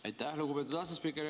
Aitäh, lugupeetud asespiiker!